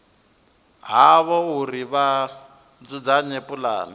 havho uri vha dzudzanye pulane